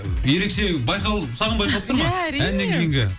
ерекше саған байқалып тұр ма ия әрине әннен кейінгі